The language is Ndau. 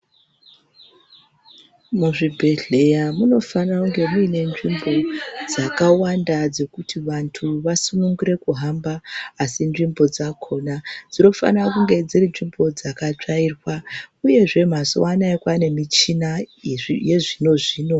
Muzvibhadhleya munofanira kunge mune nzvimbo dzakawanda dzekuti vandu vasununguke kuhamba, asi nzvimbo dzakona dzinofanira kunge dziri nzvimbo dzakatsvairwa, uyezve mazuwa anawa kwane michina yezvino zvino.